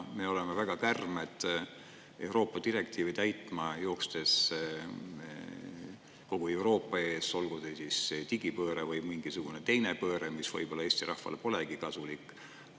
Me oleme väga kärmed Euroopa direktiive täitma joostes kogu Euroopa ees, olgu see digipööre või mingisugune teine pööre, mis võib-olla Eesti rahvale polegi kasulik.